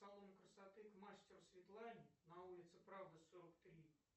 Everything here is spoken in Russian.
салон красоты к мастеру светлане на улице правды сорок три